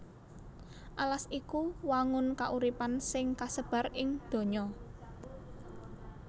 Alas iku wangun kauripan sing kasebar ing donya